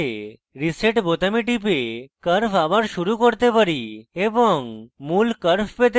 reset বোতামে টিপে curve আবার শুরু করতে পারি এবং মূল curve পেতে পারি